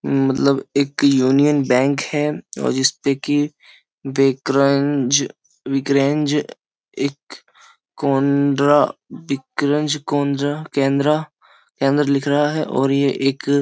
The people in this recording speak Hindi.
मतलब एक यूनियन बैंक है और जिसपे के विक्रेंज एक कोनर विक्रेंज कोनरा केनरा लिख रहा है और ये एक --